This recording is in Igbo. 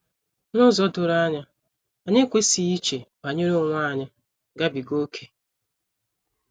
N’ụzọ doro anya, anyị ekwesịghị iche banyere onwe anyị gabiga ókè.